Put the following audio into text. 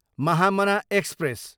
Mahamana express